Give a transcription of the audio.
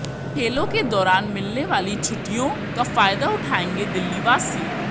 खेलों के दौरान मिलने वाली छुट्टियों का फायदा उठायेंगे दिल्लीवासी